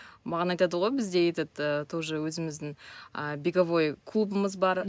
маған айтады ғой бізде этот ы тоже өзіміздің ы беговой клубымыз бар